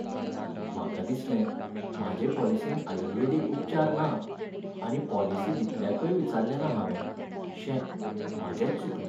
म्हाका दिसलें म्हाजे पॉलिसींत आयुर्वेदीक उपचार ना, आनी पॉलिसी दितल्याकय विचाल्लेंना हावें, शे, म्हाजेंच चुकलें.